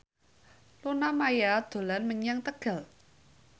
Luna Maya dolan menyang Tegal